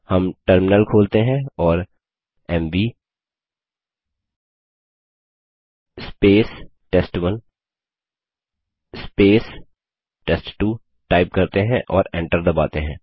हम टर्मिनल खोलते हैं और एमवी टेस्ट1 टेस्ट2 टाइप करते हैं और एंटर दबाते हैं